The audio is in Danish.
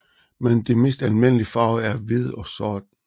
Men de mest almindelige farver er hvid og sort